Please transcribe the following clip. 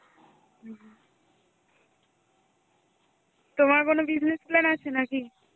তোমার কোনো business plan আছে নাকি?